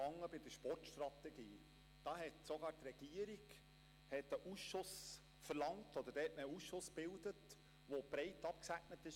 Damals hatte sogar die Regierung einen Ausschuss verlangt, oder hatte man einen Ausschuss gebildet, der breit abgestützt war.